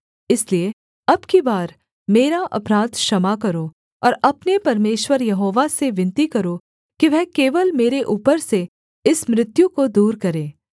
इसलिए अब की बार मेरा अपराध क्षमा करो और अपने परमेश्वर यहोवा से विनती करो कि वह केवल मेरे ऊपर से इस मृत्यु को दूर करे